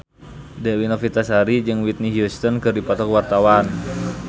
Dewi Novitasari jeung Whitney Houston keur dipoto ku wartawan